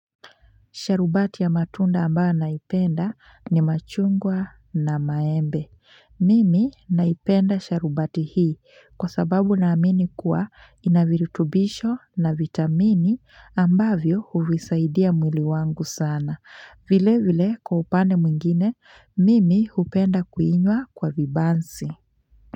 Sharubati ya matunda ambayo naipenda ni machungwa na maembe. Mimi naipenda sharubati hii kwa sababu na amini kuwa inavirutubisho na vitamini ambavyo huvisaidia mwili wangu sana. Vile vile kwa upande mwingine, mimi upenda kuinywa kwa vibansi.